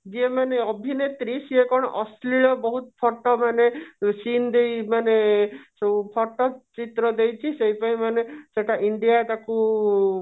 ଜିଏମାନେ ଏଭିନେତ୍ରୀ ସେଇ କଣ ଅଶ୍ରୀଳ ବହୁତ photo ମାନେ seen ଦେଇ ମାନେ ସବୁ photo ଚିତ୍ର ଦେଇଛି ସେଇଥିପାଇଁ ମାନେ india ତାକୁ